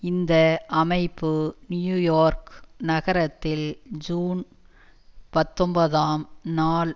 இந்த அமைப்பு நியூயோர்க் நகரத்தில் ஜூன் பத்தொன்பதாம் நாள்